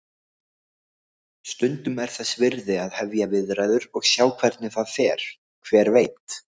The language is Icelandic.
Stundum er þess virði að hefja viðræður og sjá hvernig það fer, hver veit?